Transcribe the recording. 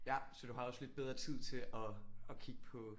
Ja så du har også lidt bedre tid til at at kigge på